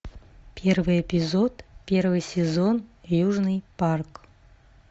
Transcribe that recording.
первый эпизод первый сезон южный парк